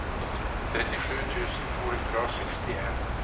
trettisju tusen to hundre og sekstien